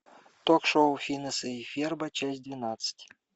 ток шоу финеса и ферба часть двенадцать